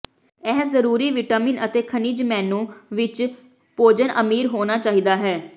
ਇਹ ਜ਼ਰੂਰੀ ਵਿਟਾਮਿਨ ਅਤੇ ਖਣਿਜ ਮੇਨੂ ਵਿੱਚ ਵਿੱਚ ਭੋਜਨ ਅਮੀਰ ਹੋਣਾ ਚਾਹੀਦਾ ਹੈ